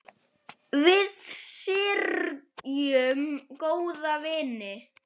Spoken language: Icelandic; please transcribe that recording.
Við syrgjum góðan vin.